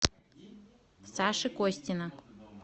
саши костина